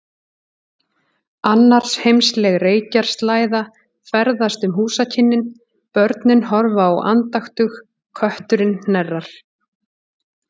Annarsheimsleg reykjarslæða ferðast um húsakynnin, börnin horfa á andaktug, kötturinn hnerrar.